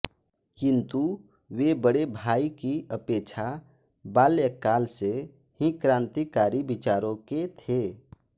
किन्तु वे बड़े भाई की अपेक्षा बाल्यकाल से ही क्रान्तिकारी विचारों के थे